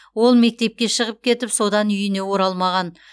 ол мектепке шығып кетіп содан үйіне оралмаған